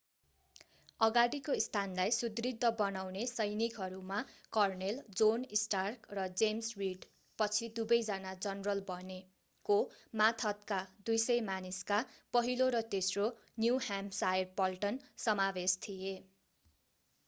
अगाडिको स्थानलाई सुदृढ बनाउने सैनिकहरूमा कर्नेल जोन स्टार्क र जेम्स रिड पछि दुवै जना जनरल बने को मातहतका 200 मानिसका पहिलो र तेस्रो न्यु ह्याम्पसायर पल्टन समावेश थिए।